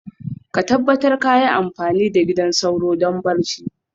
ka tabbata kayi amfani da gidan sauro don barci.